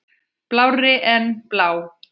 Blárri en blá.